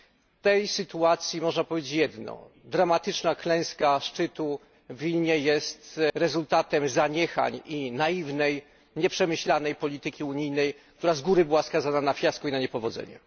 W tej sytuacji można powiedzieć jedno dramatyczna klęska szczytu w Wilnie jest rezultatem zaniechań i naiwnej, nieprzemyślanej polityki unijnej, która z góry była skazana na fiasko i na niepowodzenie.